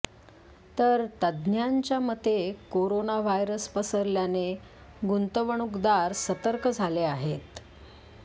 तर तज्ज्ञांच्या मते कोरोना व्हायरस पसरल्याने गुंतवणूकदार सतर्क झाले आहेत